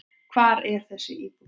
Hvar er þessi íbúð?